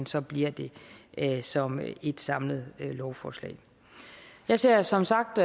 så bliver det det som et samlet lovforslag jeg ser som sagt